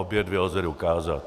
Obě dvě lze dokázat.